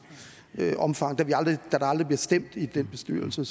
omfang da der aldrig bliver stemt i den bestyrelse